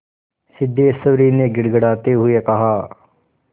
सिद्धेश्वरी ने गिड़गिड़ाते हुए कहा